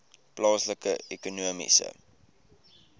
plaaslike ekonomiese